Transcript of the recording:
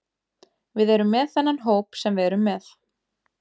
Við erum með þennan hóp sem við erum með.